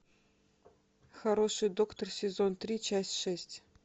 хороший доктор сезон три часть шесть